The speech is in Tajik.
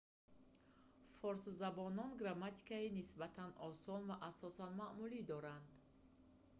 форсзабонон грамматикаи нисбатан осон ва асосан маъмулӣ доранд